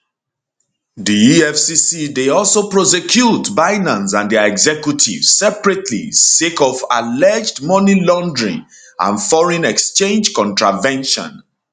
di efcc dey also prosecute binance and dia executives separately sake of alleged money laundering and foreign exchange contravention